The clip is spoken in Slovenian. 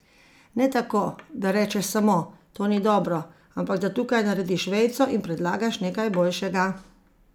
Ne tako, da rečeš samo: "To ni dobro", ampak da tukaj narediš vejico in predlagaš nekaj boljšega.